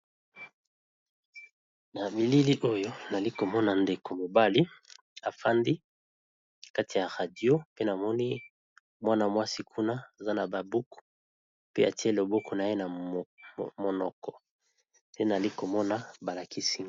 na bilili oyo nali komona ndeko mobali afandi kati ya radio pe namoni mwana-mwasi kuna aza na babuku pe atie lobuku na ye na monoko te nali komona balakisina